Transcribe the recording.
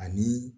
Ani